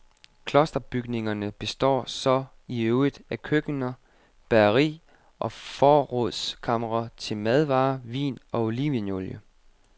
Klosterbygningerne består så i øvrigt af køkkener, bageri og forrådskamre til madvarer, vin og olivenolie.